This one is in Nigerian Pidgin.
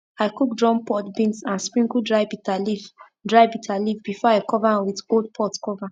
i cook drum pod beans and sprinkle dry bitter leaf dry bitter leaf before i cover am with old pot cover